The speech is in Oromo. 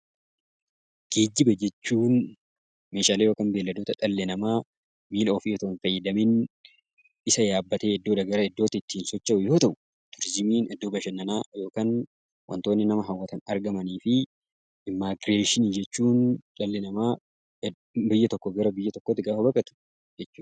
Geejjiba jechuun meeshaalee yookaan beeyladoota dhalli namaa miila ofii otoo hin fayyadamiin isa yaabbatee iddoodhaa gara iddootti ittiin socho'u yoo ta'u, turizimiin iddoo bashannanaa yookaan wantoonni nama hawwatan argaman fi Immigireeshinii jechuun dhalli namaa biyya tokkoo gara biyya tokkootti gaafa baqatu jechuudha.